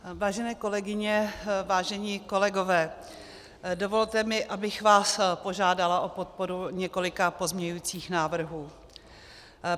Vážené kolegyně, vážení kolegové, dovolte mi, abych vás požádala o podporu několika pozměňovacích návrhů.